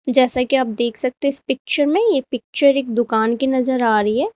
जैसा कि आप देख सकते हैं इस पिक्चर में ये पिक्चर दुकान की नजर आ रही है।